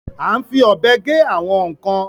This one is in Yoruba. À ń fi ọ́bè gè àwọn nkan.